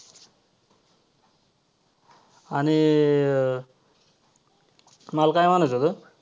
आणि~ मला काय म्हणायचं होतं.